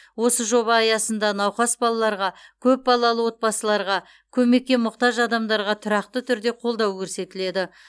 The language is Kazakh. осы жоба аясында науқас балаларға көп балалы отбасыларға көмекке мұқтаж адамдарға тұрақты түрде қолдау көрсетіледі